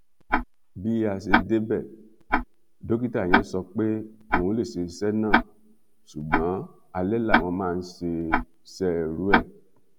bí a ṣe débẹ dókítà yẹn sọ pé òun lè ṣe iṣẹ náà ṣùgbọn alẹ làwọn máa ń ṣerú ẹ